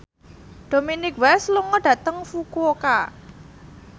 Dominic West lunga dhateng Fukuoka